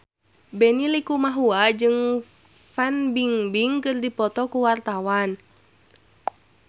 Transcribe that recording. Benny Likumahua jeung Fan Bingbing keur dipoto ku wartawan